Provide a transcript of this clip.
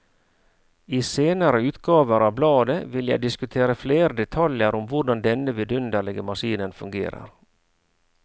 I senere utgaver av bladet vil jeg diskutere flere detaljer om hvordan denne vidunderlige maskinen fungerer.